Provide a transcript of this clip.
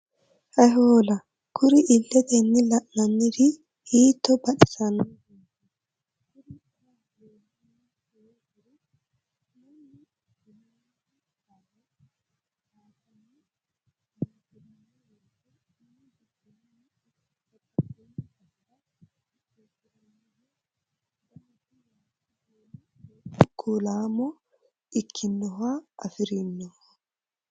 Hayi hoola kuri iletenni la'nanniri hiitto baxisanoreti, kuri xa leellani noonkeri Mannu ilami barra qaaganni ayirrisirano woyte minu giddonino ikko babbaxxino basera qixxesiranoho, danisi waajo, duumo, gordu kulamo ikkinoha afirinoho.